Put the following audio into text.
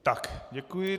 Tak, děkuji.